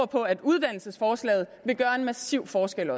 på at uddannelsesforslaget vil gøre en massiv forskel